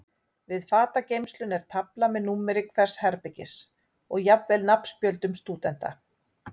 Við fatageymsluna er tafla með númeri hvers herbergis og jafnvel nafnspjöldum stúdenta.